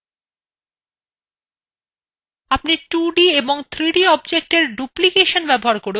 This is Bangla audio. আপনি 2d এবং 3d objectsএ ডুপ্লিকেসন ব্যবহার করেও বিশেষ effects তৈরী করতে পারেন